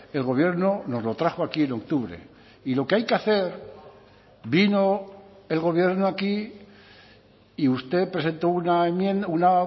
el gobierno nos lo trajo aquí en octubre y lo que hay que hacer vino el gobierno aquí y usted presentó una enmienda una